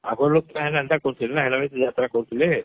ଅଗର ଲୁକ କାଇଁ ହେନ୍ତା କରୁଥିଲେ ନା କାଇଁ ହେଟାର କି ଯାତ୍ରା କରୁଥିଲେ